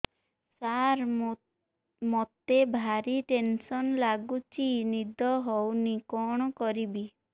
ସାର ମତେ ଭାରି ଟେନ୍ସନ୍ ଲାଗୁଚି ନିଦ ହଉନି କଣ କରିବି